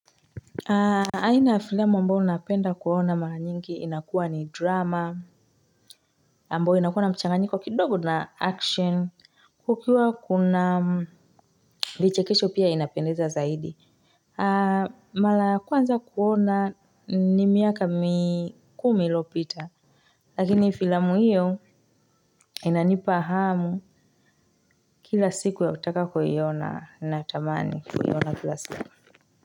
Aina ya filamu ambayo napenda kuona mara nyingi inakuwa ni drama, ambayo inakuwa na mchanganyiko kidogo na action, kukiwa kuna vichekesho pia inapendeza zaidi. Mara ya kwanza kuona ni miaka mikumi iliyopita lakini filamu hiyo inanipa hamu. Kila siku ya utaka kuiona na tamani kuiona kila siku.